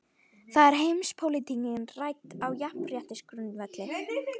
Þar er heimspólitíkin rædd á jafnréttisgrundvelli.